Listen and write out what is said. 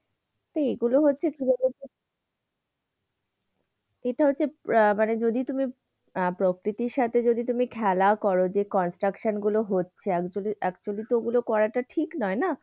এগুলো হচ্ছে, এটা হচ্ছে আহ মানে যদি তুমি আহ প্রকৃতির সাথে যদি তুমি খেলা কর, যে construction গুলো হচ্ছে actually তো গুলো করাটা ঠিক নয় না?